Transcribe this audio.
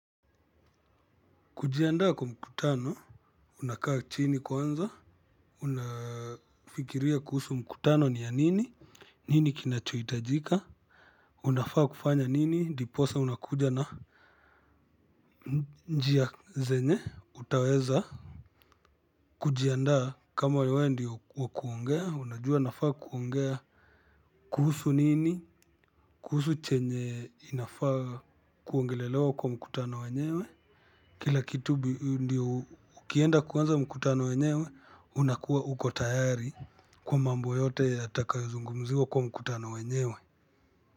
Kujiandaa kwa mkutano unakaa chini kwanza. Unafikiria kuhusu mkutano ni ya nini. Nini kinachohitajika. Unafaa kufanya nini ndiposa unakuja na njia zenye utaweza kujiandaa kama wewe ndio wa kuongea unajua nafaa kuongea. Kuhusu nini kuhusu chenye inafaa kuongelelewa kwa mkutano wenyewe. Kila kitu ndo ukienda kuanza mkutano wenyewe unakuwa uko tayari kwa mambo yote yatakayozungumziwa kwa mkutano wenyewe.